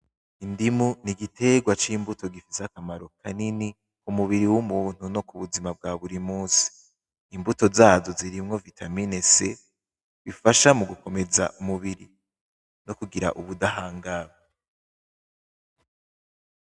Indimu ni igitegwa c'imbuto gifise akamaro kanini ku mubiri w'umuntu no kubuzima bwa buri musi. Imbuto zazo zirimwo vitamin C,bifasha gukomeza umubiri no kugira ubudahangagwa.